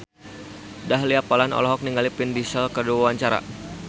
Dahlia Poland olohok ningali Vin Diesel keur diwawancara